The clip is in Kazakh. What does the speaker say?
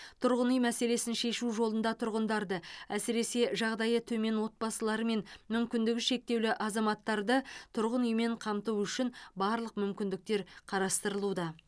тұрғын үй мәселесін шешу жолында тұрғындарды әсіресе жағдайы төмен отбасылары мен мүмкіндігі шектеулі азаматтарды тұрғын үймен қамту үшін барлық мүмкіндіктер қарастырылуда